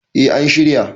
eh an shirya